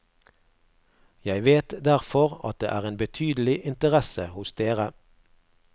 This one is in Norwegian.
Jeg vet derfor at det er en betydelig interesse hos dere.